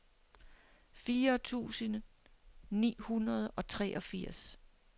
fire tusind ni hundrede og treogfirs